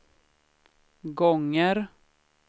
gånger